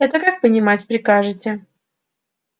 это как понимать прикажете